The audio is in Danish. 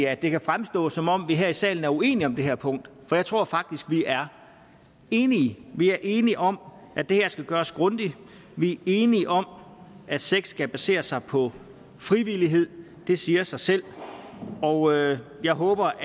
at det kan fremstå som om vi her i salen er uenige om det her punkt for jeg tror faktisk vi er enige vi er enige om at det her skal gøres grundigt vi er enige om at sex skal basere sig på frivillighed det siger sig selv og jeg håber